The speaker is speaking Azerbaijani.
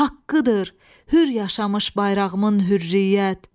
Haqqıdır hür yaşamış bayrağımın hürriyyət.